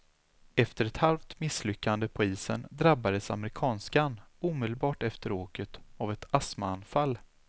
Efter ett halvt misslyckande på isen drabbades amerikanskan omedelbart efter åket av ett astmaanfall.